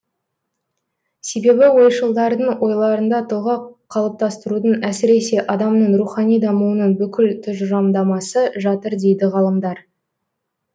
себебі ойшылдардың ойларында тұлға қалыптастырудың әсіресе адамның рухани дамуының бүкіл тұжырымдамасы жатыр дейді ғалымдар